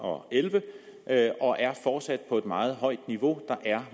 og elleve og er fortsat på et meget højt niveau der er